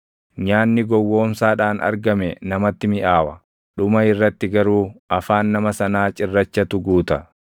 Nyaanni gowwoomsaadhaan argame namatti miʼaawa; dhuma irratti garuu afaan nama sanaa cirrachatu guuta.